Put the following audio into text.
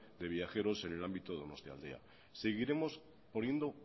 de viajeros en el ámbito de donostialdea seguiremos poniendo